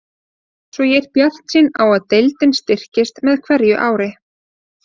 Svo ég er bjartsýn á að deildin styrkist með hverju ári.